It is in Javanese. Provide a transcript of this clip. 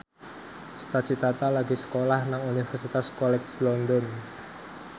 Cita Citata lagi sekolah nang Universitas College London